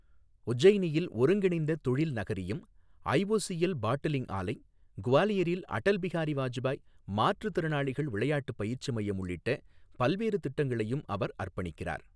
உஜ்ஜைனியில் ஒருங்கிணைந்த தொழில் நகரியம், ஐஓசிஎல் பாட்டிலிங் ஆலை, குவாலியரில் அடல் பிஹாரி வாஜ்பாய் மாற்றுத்திறனாளிகள் விளையாட்டு பயிற்சி மையம் உள்ளிட்ட பல்வேறு திட்டங்களையும் அவர் அர்ப்பணிக்கிறார்.